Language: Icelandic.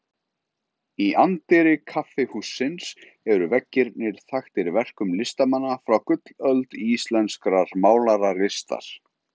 Í anddyri kaffihússins eru veggirnir þaktir verkum listamanna frá gullöld íslenskrar málaralistar.